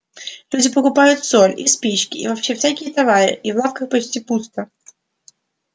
люди покупают соль и спички и вообще всякие товары и в лавках почти пусто